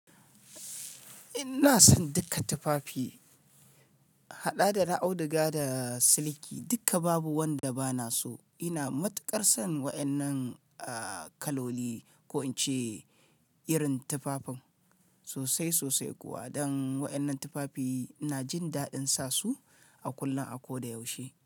Ina son duka tufafi, haɗa da na auduga da na siliki, duka babu wanda ba na so. Ina matukar son waɗannan, kaloli ko in ce irin tufafin sosai sosai kuwa. Don waɗannan tufafi ina jin daɗin sa su a kullum, a ko da yaushe.